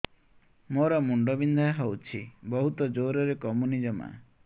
ମୋର ମୁଣ୍ଡ ବିନ୍ଧା ହଉଛି ବହୁତ ଜୋରରେ କମୁନି ଜମା